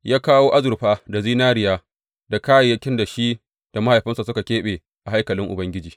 Ya kawo azurfa da zinariya da kayayyakin da shi da mahaifinsa suka keɓe a haikalin Ubangiji.